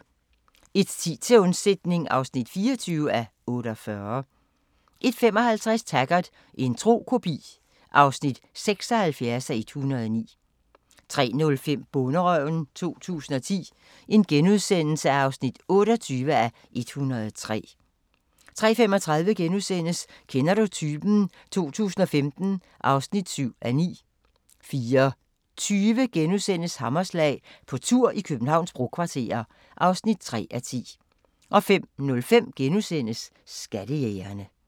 01:10: Til undsætning (24:48) 01:55: Taggart: En tro kopi (76:109) 03:05: Bonderøven 2010 (28:103)* 03:35: Kender du typen? 2015 (7:9)* 04:20: Hammerslag – på tur i Københavns brokvarterer (3:10)* 05:05: Skattejægerne *